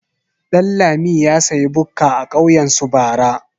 Ɗanlami ya sayi bukka a kauyen su bara.